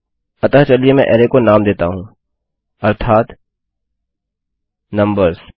अतःचलिए मैं अरै को नाम देता हूँ अर्थात नम्बर्स